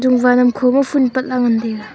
kho ma phool pat la ngan taiga.